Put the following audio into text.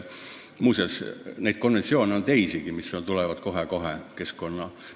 Muuseas, neid konventsioone on teisigi, mis tulevad kohe-kohe lauale.